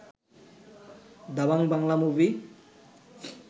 Dabangg Bangla movie